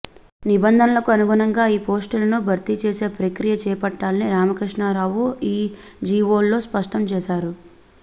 నిబంధనలకు అనుగుణంగా ఈ పోస్టులను భర్తీ చేసే ప్రక్రియ చేపట్టాలని రామకృష్ణారావు ఈ జీఓల్లో స్పష్టం చేశారు